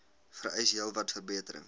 vereis heelwat verbetering